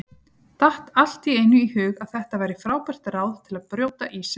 Datt allt í einu í hug að þetta væri frábært ráð til að brjóta ísinn!